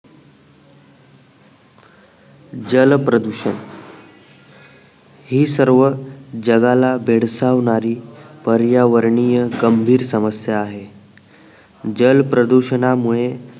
जलप्रदूषण ही सर्व जगाला बेडसावणारी पर्यावरणीय गंभीर समस्या आहे जल प्रदूषणा मुळे